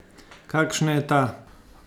Kakšna je ta?